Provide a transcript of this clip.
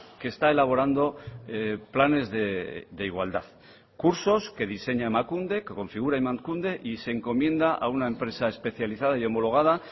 que está elaborando planes de igualdad cursos que diseña emakunde que configura emakunde y se encomienda a una empresa especializada y homologada